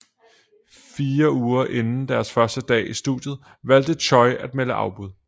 Fire uger inden deres første dag i studiet valgte Choy at melde afbud